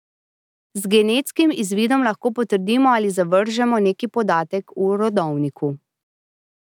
Z genetskim izvidom lahko potrdimo ali zavržemo neki podatek v rodovniku.